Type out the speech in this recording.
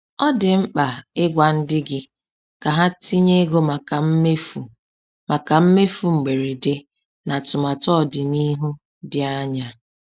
Ọ dị mkpa ịgwa ndị gị ka ha tinye ego maka mmefu maka mmefu mgberede na atụmatụ ọdịnihu dị anya.